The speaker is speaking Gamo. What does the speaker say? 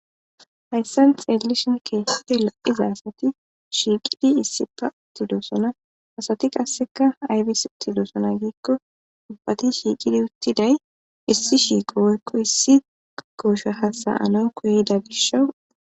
Hayssan xelelishin khippe lo7iza asati shiiqidi issippe uttidoosona asati qasseka aybis uttidoosona giikko ubbati shiiqidi uttiday issi shiiqo woykko issi koosha hasayana koyda gishawu.